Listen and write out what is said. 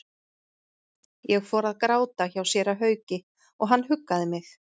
Ég fór að gráta hjá séra Hauki og hann huggaði mig.